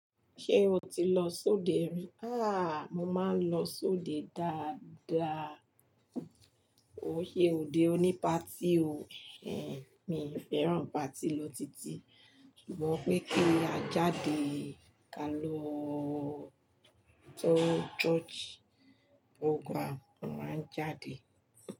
Ṣé o ti lọ sóde rí? Àh! Mo máa ń lọ sóde dáadáa. Ko n sé òde oní party o. Ẹ̀n, mi n fẹ́ràn party lotiti. Sugbon pé kí a jáde, ká lọ church program, mo máa ń jáde.